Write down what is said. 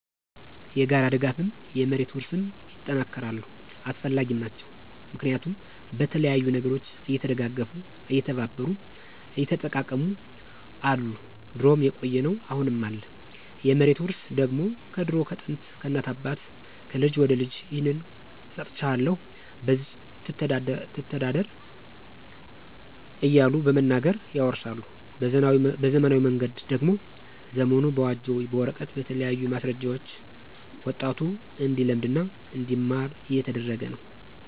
የጋራ ድጋፍም፣ የመሬት ውርስም ይጠናከራሉ አሰፈላጊም ናቸው። ምክንያቱም በተለያዩ ነገሮች እየተደጋገፉ፣ እየተባበሩ፣ እየተጠቃቀሙ አሉ ድሮም የቆየ ነው አሁንም አለ። የመሬት ውርስ ደግሞ ከድሮ ከጥንት፣ ከእናት ከአባት፣ ከልጅ ወደ ልጅ ይህን ሰጥቸሀለሁ በዚች ተዳደር እያሉ በመናገር ያወርሳሉ። በዘመናዊ መንገድ ደግሞ ዘመኑ በዋጀው በወረቀት በተለያዩ ማሰረጃዎች ወጣቱ እንዲለምድ እና እንዲማር እየተደረገ ነው።